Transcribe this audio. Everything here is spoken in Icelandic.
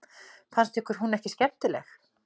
Fannst ykkur hún ekki skemmtileg?